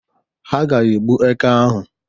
Ha ga-egbu eke ahụ